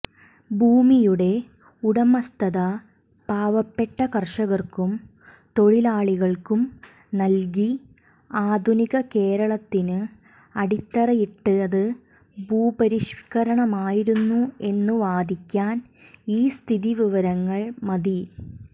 ഭൂമിയുടെ ഉടമസ്ഥത പാവപ്പെട്ട കർഷകർക്കും തൊഴിലാളികൾക്കുംനൽകി ആധുനിക കേരളത്തിന് അടിത്തറയിട്ടത് ഭൂപരിഷ്കരണമായിരുന്നു എന്നുവാദിക്കാൻ ഈ സ്ഥിതിവിവരങ്ങൾ മതി